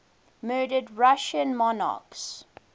murdered russian monarchs